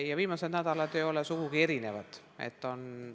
Ja viimased nädalad ei ole sugugi erinevad.